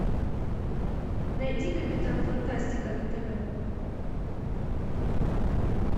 найди капитан фантастика на тв